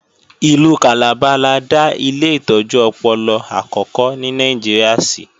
Ìlú Calabar la dá ilé ìtọ́jú ọpọlọ àkókò ní Nàìjíríà sí